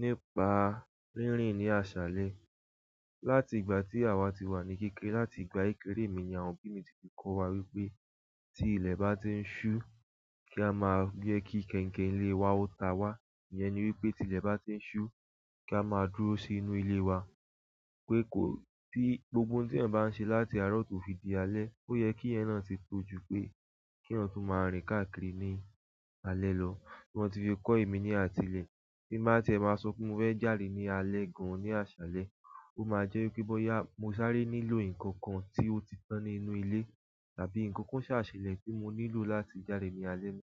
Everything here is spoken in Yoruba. Nípa rínrìn ní aṣálẹ. Látìgbà tí àwa ti wà ní kékeré, látìgbà kékeré mi ni àwọn òbí mi ti fi kọ́ wa wípé tí ilẹ̀ bá ti ń ṣú, kí a máa jẹ́ kí kẹ̀ǹkẹ̀ ilé wa ó ta wá. Iyen ni wípé tí ilẹ̀ bá ti ń ṣú, kí a máa dúró sínú ilé wa. Pé kó, tí gbogbo ohun tí èyan bá ń ṣe láti àárọ̀ tó fi di alẹ́, ó yẹ kí iyen náà ti tojú pé kí eyan tún máa rìn káàkiri ní alẹ́ lọ. Wọ́n ti fi kọ́ èmi ní àtilẹ̀. Bí máa tí ẹ máa sọ pé mo fẹ́ jáde ní alẹ́ gan-an ní aṣálẹ́, ó máa jẹ́ wípé bóyá mo sáré nílò ǹkan kan tí ó ti tán nínú ilé tàbí ǹkan kan ṣàṣelẹ̀ tí mo nílò láti jáde ní alẹ́ náà.